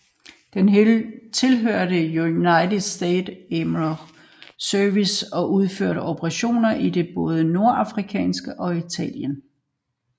Den tilhørte United States Army Pigeon Service og udførte operationer i både Nordafrika og Italien